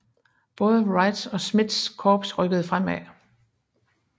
Både Wrights og Smiths korps rykkede fremad